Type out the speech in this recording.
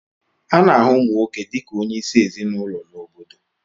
A na-ahụ ụmụ nwoke dị ka onye isi ezinụlọ na obodo